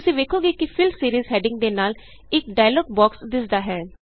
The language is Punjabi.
ਤੁਸੀਂ ਵੇਖੋਗੇ ਕਿ ਫਿੱਲ Seriesਹੈਡਿੰਗ ਦੇ ਨਾਲ ਇਕ ਡਾਇਲੋਗ ਬੋਕਸ ਦਿੱਸਦਾ ਹੈ